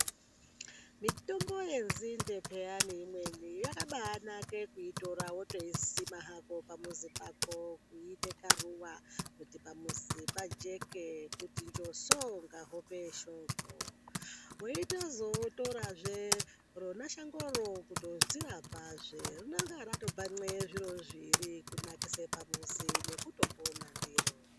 Mitombo yenzinde payani imweni yakabaanake kuitora wotoisima hako pamuzi pako kuite karuwa kuti pamuzi pajeke kuti njoso kunge hope yeshoko weitozotorazve rona shangoro kutodzirapazve rinenga ratoban'e zviro zviiri kunakise pamuzi nekutopona ndiro.